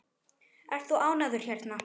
Ert þú ánægður hérna?